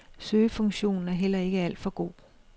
Søgefunktionen er heller ikke alt for god.